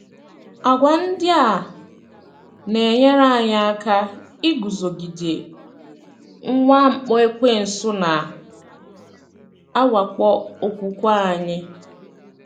Àgwà ndị a na - enyere anyị aka iguzogide mwakpo Ekwensu na - awakpo okwukwe anyị.